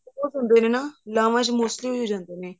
ਬਹੁਤ ਹੁੰਦੇ ਨੇ ਨਾ ਲਾਵਾਂ ਚ mostly ਹੋ ਜਾਂਦੇ ਨੇ